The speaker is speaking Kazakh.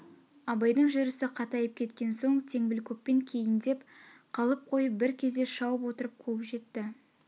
абайдың жүріс қатайып кеткен соң теңбілкөкпен кейндеп қалып қойып бір кезде шауып отырып қуып жетті